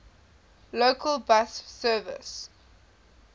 local bus services